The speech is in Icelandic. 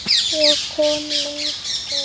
Svo kom löng þögn.